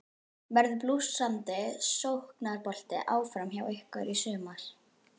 Verður blússandi sóknarbolti áfram hjá ykkur í sumar?